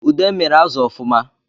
Ude miri azụ ọfụma